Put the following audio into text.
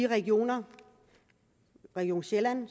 regionerne region sjælland